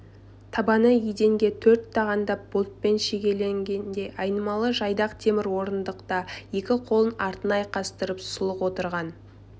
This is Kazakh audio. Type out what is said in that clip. табаны еденге төрт тағандап болтпен шегенделген айналмалы жайдақ темір орындықта екі қолын артына айқастырып сұлық отырған